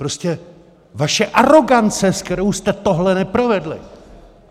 Prostě vaše arogance, se kterou jste tohle neprovedli!